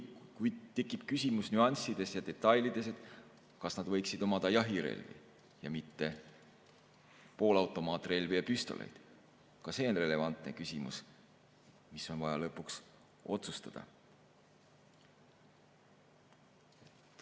Kui tekib küsimus nüanssidest ja detailidest, et kas nad võiksid omada jahirelvi ja mitte poolautomaatrelvi ja püstoleid, siis ka see on relevantne küsimus, mis on vaja lõpuks otsustada.